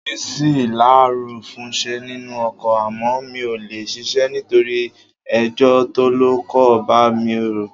Orí mi ṣí láàárọ̀ fúnṣẹ́ nínú ọkọ̀ àmọ́ mi ò lè ṣíṣe nítorí ẹjọ́ tọ́lọ́kọ̀ bá mi rò.